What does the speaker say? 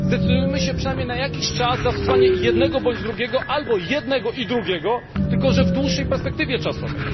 Zdecydujmy się przynajmniej na jakiś czas na zastosowanie jednego bądź drugiego, albo jednego i drugiego w dłuższej perspektywie czasowej.